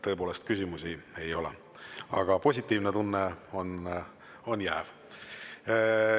Tõepoolest küsimusi ei ole, aga positiivne tunne on jääv.